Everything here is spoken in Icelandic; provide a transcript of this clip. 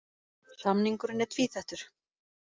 Samningurinn er tvíþættur